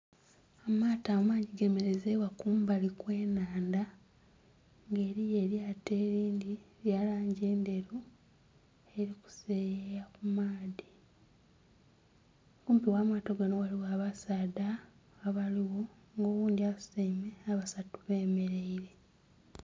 Amaato amangi ge merezeibwa kumbali kwe'nhandha nga eriyo eryaato erindhi erya langi endheru liri ku seyeya ku maadhi, kumpi gha maato gano ghaligho abasaadha abaligho nga oghundhi asutaime nga abasatu bemereire.